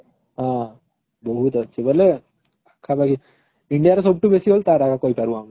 ହଁ ବହୁତ ଅଛି ବୋଲେ ପାଖାପାଖି india ର ସବୁଠୁ ବେଶି ତାର ଆଗା କହିପାରିବୁ ଆମେ